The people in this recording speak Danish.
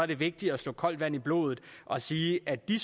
det vigtigt at slå koldt vand i blodet og sige at de